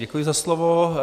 Děkuji za slovo.